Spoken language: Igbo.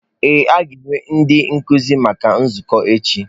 Ee, a ga-enwe ndị nkuzi na-ezukọ echi.